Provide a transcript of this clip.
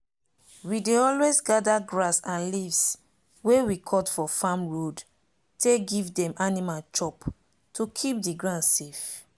we dey always gather grass and leaves wey we cut for farm road take give dem animal chop to keep the ground safe.